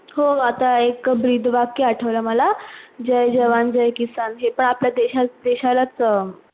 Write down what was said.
हो आता एक ब्रीद वाक्य आठवळ मला जय जवान जय किसान हे पण आपल्या देश देशालच हा